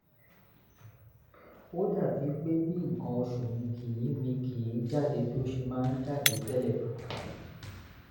ó dàbí pé bí nǹkan oṣù mí kì mí kì í jáde bó ṣe máań jáde tẹ́lẹ̀